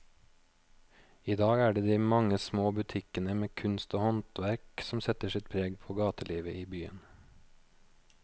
I dag er det de mange små butikkene med kunst og håndverk som setter sitt preg på gatelivet i byen.